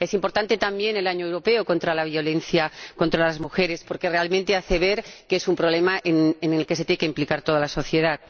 Es importante también el Año Europeo contra la violencia contra las mujeres, porque realmente hace ver que es un problema en el que se tiene que implicar toda la sociedad.